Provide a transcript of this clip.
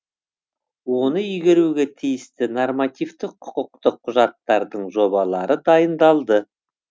оны игеруге тиісті нормативтік құқықтық құжаттардың жобалары дайындалды